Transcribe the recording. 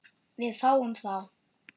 Við fáum þá